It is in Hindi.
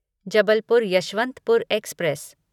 जबलपुर यशवंतपुर एक्सप्रेस